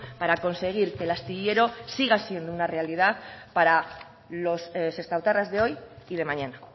para conseguir que el astillero siga siendo una realidad para los sestaotarras de hoy y de mañana